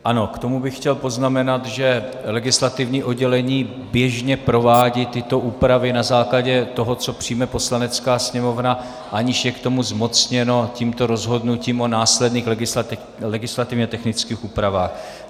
Ano, k tomu bych chtěl poznamenat, že legislativní oddělení běžně provádí tyto úpravy na základě toho, co přijme Poslanecká sněmovna, aniž je k tomu zmocněno tímto rozhodnutím o následných legislativně technických úpravách.